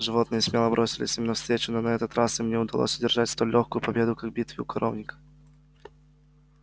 животные смело бросились им навстречу но на этот раз им не удалось одержать столь лёгкую победу как в битве у коровника